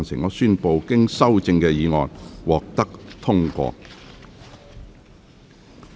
我宣布經修正的議案獲得通過。